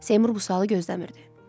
Seymur bu sualı gözləmirdi.